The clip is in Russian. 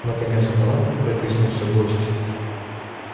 наконец в палатку протиснулся гость